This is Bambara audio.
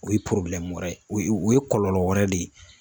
O ye wɛrɛ o ye o ye kɔlɔlɔ wɛrɛ de ye